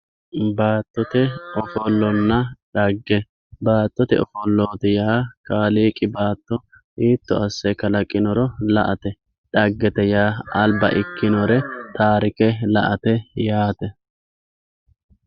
Baattotte ofollonna xagge, baattotte offolloti yaa kaalliiqi baatto hiito ase kalaqinoro la'atte xaggette yaa aliba ikkinore taarikke la'atte yaate